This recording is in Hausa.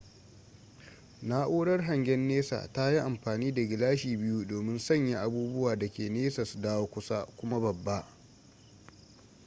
na'urar hangen nesa tayi amfani da gilashi biyu domin sanya abubuwa dake nesa su dawo kusa kuma babba